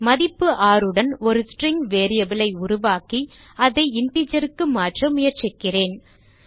மதிப்பு 6 உடன் ஒரு ஸ்ட்ரிங் variable ஐ உருவாக்கி அதை interger க்கு மாற்ற முயற்சிக்கிறேன்